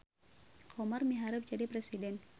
Komar miharep jadi presiden